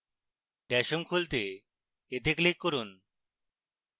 dash home খুলতে এতে click করুন